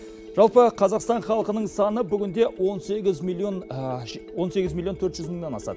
жалпы қазақстан халқының саны бүгінде он сегіз миллион он сегіз миллион төрт жүз мыңнан асады